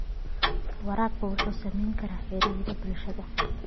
Waraabka wuxuu saameyn karaa xiriirka bulshada.